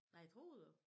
Nej tror du?